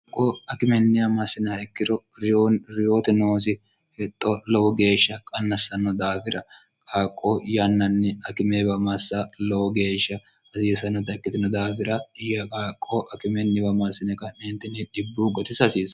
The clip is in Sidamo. aqqo akimennia massina ikkiro riyoote noosi hexxo lowo geeshsha qannassanno daafira qaaqqo yannanni akimeewa massa lowo geeshsha hasiisanno ta ikkitino daafira yaqaaqqo akimenniwa masine nnn dibbu gotisasiisa